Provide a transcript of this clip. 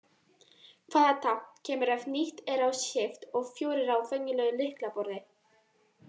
Hvaða tákn kemur ef ýtt er á Shift og fjórir á venjulegu lyklaborði?